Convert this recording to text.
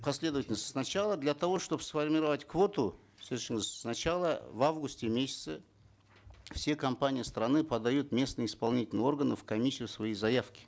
последовательность сначала для того чтобы сформировать квоту сначала в августе месяце все компании страны подают в местные исполнительные органы в комиссию свои заявки